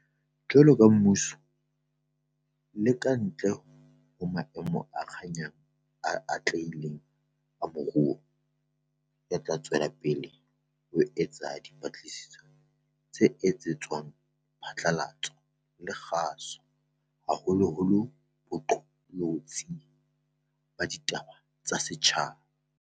Jwaloka mmuso, le ka ntle ho maemo a kganyang a atlehileng a moruo, re tla tswela pele ho eketsa dipapatso tse etsetswang diphatlalatso le kgaso, haholoholo boqolotsi ba ditaba tsa setjhaba.